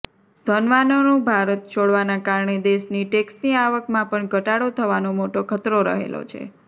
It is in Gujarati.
ધનવાનોનું ભારત છોડવાના કારણે દેશની ટેકસની આવકમાં પણ ઘટાડો થવાનો મોટો ખતરો રહેલો છે